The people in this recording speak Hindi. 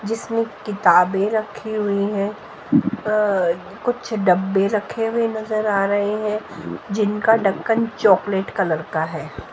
जिसमें किताबें रखी हुई हैं अं कुछ डब्बे रखे हुए नजर आ रहे हैं जिनका ढक्कन चॉकलेट कलर का है।